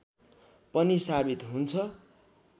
पनि सावित हुन्छ